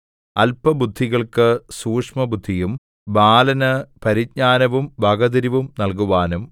അല്പബുദ്ധികൾക്ക് സൂക്ഷ്മബുദ്ധിയും ബാലന് പരിജ്ഞാനവും വകതിരിവും നല്കുവാനും